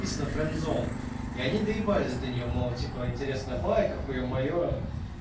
исано френдзон и они доебались до нее мол типа интересная байка хуе-мое